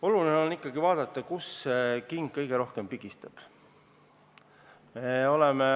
Oluline on ikkagi vaadata, kust king kõige rohkem pigistab.